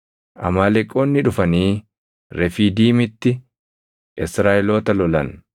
Amaaleqoonni dhufanii Refiidiimitti Israaʼeloota lolan.